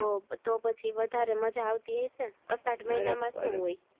તો પછી વધારે મજા આવતી હયશે અસાઢ મહિના સુ હોય